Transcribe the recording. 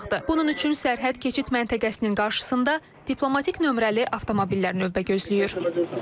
Bunun üçün sərhəd keçid məntəqəsinin qarşısında diplomatik nömrəli avtomobillər növbə gözləyir.